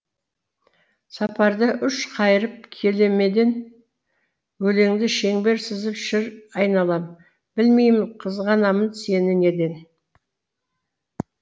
сапарда үш қайырып келемеден өлеңді шеңбер сызып шыр айналам білмеймін қызғанамын сені неден